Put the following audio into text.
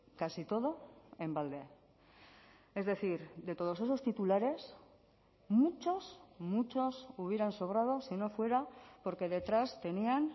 casi todo en balde es decir de todos esos titulares muchos muchos hubieran sobrado si no fuera porque detrás tenían